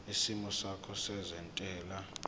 isimo sakho sezentela